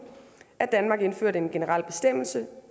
at danmark indførte en generel bestemmelse